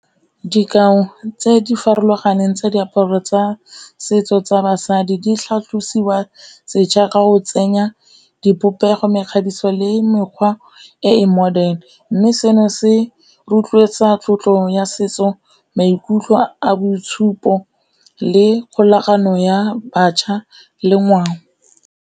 Dikao tse di farologaneng tsa diaparo tsa setso tsa basadi di tlhatlosiwa setšha ka go tsenya dipopego, mekgabiso le mekgwa e e modern, mme seno se rotloetsa tlotlo ya setso, maikutlo a boitshupo le kgolagano ya bašwa le ngwao.